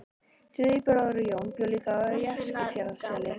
Þriðji bróðirinn, Jón, bjó líka í Eskifjarðarseli.